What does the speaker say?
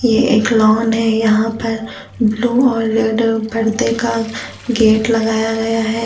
एक लॉन है यहां पर ब्लू और रेड परदे का गेट लगाया गया है।